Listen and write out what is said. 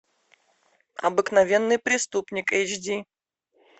обыкновенный преступник эйч ди